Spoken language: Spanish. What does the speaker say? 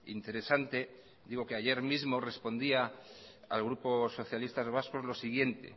interesante digo que ayer mismo respondía al grupo socialistas vascos lo siguiente